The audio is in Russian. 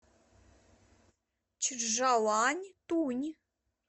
чжаланьтунь